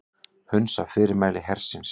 Hunsa fyrirmæli hersins